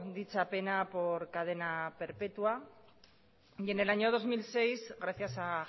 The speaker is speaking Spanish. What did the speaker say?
dicha pena por cadena perpetua en el año dos mil seis gracias a